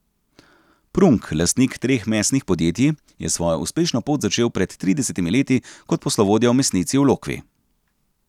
Prunk, lastnik treh mesnih podjetij, je svojo uspešno pot začel pred tridesetimi leti kot poslovodja v mesnici v Lokvi.